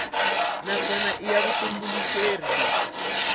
naswona i ya vutitumbuluxeri lebyi